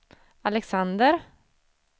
Alexander